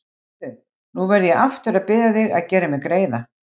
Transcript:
Heyrðu. nú verð ég aftur að biðja þig að gera mér greiða!